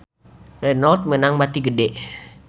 Renault meunang bati gede